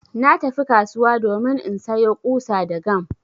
Na tafi kasuwa domin insayo ƙusa da gam